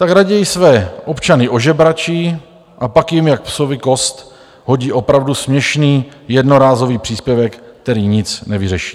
Tak raději své občany ožebračí a pak jim jak psovi kost hodí opravdu směšný jednorázový příspěvek, který nic nevyřeší.